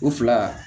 O fila